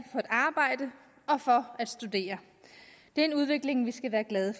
for at arbejde og for at studere det er en udvikling vi skal være glade